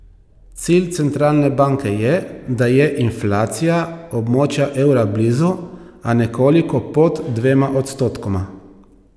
Cilj centralne banke je, da je inflacija območja evra blizu, a nekoliko pod dvema odstotkoma.